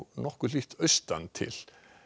nokkuð hlýtt austantil